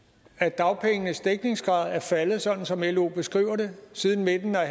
at dagpengenes dækningsgrad er faldet sådan som lo beskriver det siden midten af